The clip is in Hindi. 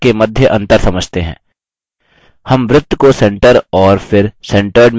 हम वृत्त को centre और फिर centered में पंक्तिबद्ध करेंगे